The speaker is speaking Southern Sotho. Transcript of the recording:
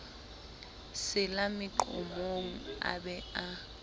sela meqomong a be a